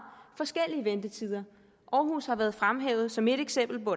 forskellige ventetider aarhus har været fremhævet som et eksempel hvor